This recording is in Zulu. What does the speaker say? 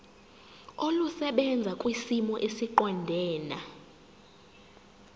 olusebenza kwisimo esiqondena